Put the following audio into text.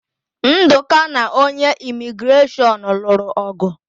Ndụka na onye Imigreshọn lụrụ ọ̀gụ̀.